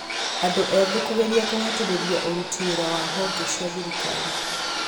andũ ethĩ kũgeria kũhatĩrĩria ũrũti wĩra wa honge cia thirikari